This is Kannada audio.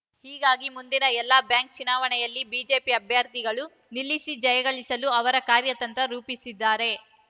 ಹೀಗಾಗಿ ಮುಂದಿನ ಎಲ್ಲಾ ಬ್ಯಾಂಕ್‌ ಚುನಾವಣೆಯಲ್ಲಿ ಬಿಜೆಪಿ ಅಭ್ಯರ್ಥಿಗಳನ್ನು ನಿಲ್ಲಿಸಿ ಜಯಗಳಿಸಲು ಅವರು ಕಾರ್ಯತಂತ್ರ ರೂಪಿಸಿದ್ದಾರೆ